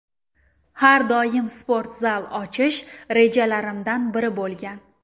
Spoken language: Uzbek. Har doim sport zal ochish rejalarimdan biri bo‘lgan.